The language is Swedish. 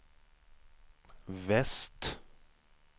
väst